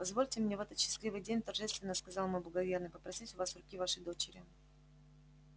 позвольте мне в этот счастливый день торжественно сказал мой благоверный попросить у вас руки вашей дочери